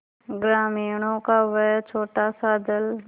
ग्रामीणों का वह छोटासा दल